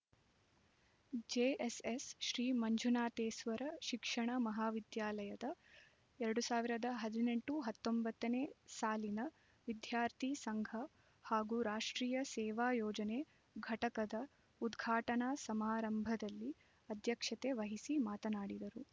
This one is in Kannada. ಜೆಎಸ್ಎಸ್ ಶ್ರೀ ಮಂಜುನಾಥೇಸ್ವರ ಶಿಕ್ಷಣ ಮಹಾವಿದ್ಯಾಲಯದ ಎರಡ್ ಸಾವಿರದ ಹದಿನೆಂಟು ಹತ್ತೊಂಬತ್ತನೇ ಸಾಲಿನ ವಿದ್ಯಾರ್ಥಿ ಸಂಘ ಹಾಗೂ ರಾಷ್ಟ್ರೀಯ ಸೇವಾ ಯೋಜನೆ ಘಟಕದ ಉದ್ಘಾಟನಾ ಸಮಾರಂಭದಲ್ಲಿ ಅಧ್ಯಕ್ಷತೆ ವಹಿಸಿ ಮಾತನಾಡಿದರು